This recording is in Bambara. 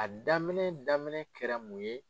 A daminɛ daminɛ kɛra mun ye.